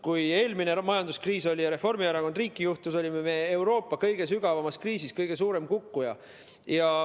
Kui oli eelmine majanduskriis ja Reformierakond riiki juhtis, olime me Euroopa kõige sügavamas kriisis, kõige suurem kukkuja.